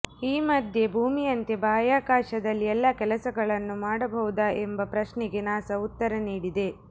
ಈ ಮಧ್ಯೆ ಭೂಮಿಯಂತೆ ಬಾಹ್ಯಾಕಾಶದಲ್ಲಿ ಎಲ್ಲ ಕೆಲಸಗಳನ್ನು ಮಾಡಬಹುದಾ ಎಂಬ ಪ್ರಶ್ನೆಗೆ ನಾಸಾ ಉತ್ತರ ನೀಡಿದೆ